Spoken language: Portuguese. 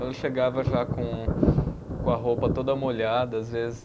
Ela chegava já com com a roupa toda molhada, às vezes,